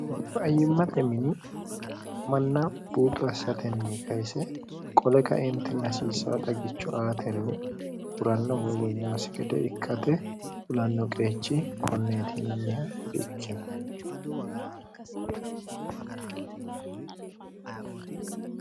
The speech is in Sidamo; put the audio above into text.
faayyimmate mini manna buuxo assatenni kayise qole kaente nasiisa dagicho aatenni huranno woywonyaasi gede ikkate fulanno qeechi konneetiinanniha di ikkino